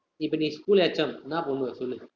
இப்ப நீ schoolHM என்னா பண்ணுவ சொல்லு